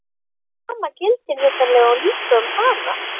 Það sama gildir vitanlega líka um hana!